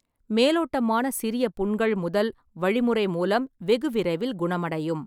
மேலோட்டமான சிறிய புண்கள் முதல் வழிமுறை மூலம் வெகுவிரைவில் குணமடையும்.